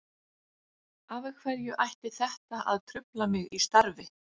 Af hverju ætti þetta að trufla mig í starfi?